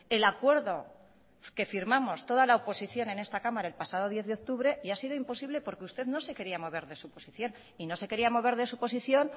el acuerdo que firmamos toda la oposición en esta cámara el pasado diez de octubre y ha sido imposible porque usted no se quería mover de su posición y no se quería mover de su posición